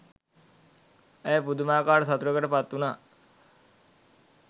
ඇය පුදුමාකාර සතුටකට පත්වුනා